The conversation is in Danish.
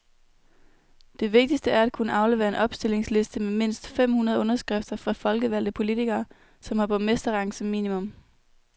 Det vigtigste er at kunne aflevere en opstillingsliste med mindst fem hundrede underskrifter fra folkevalgte politikere, som har borgmesterrang som minimum.